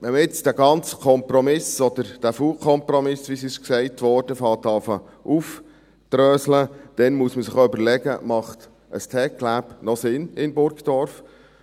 Wenn man jetzt den ganzen Kompromiss, oder den faulen Kompromiss, wie gesagt wurde, aufzudröseln beginnt, dann muss man sich auch überlegen, ob ein TecLab noch Sinn macht in Burgdorf.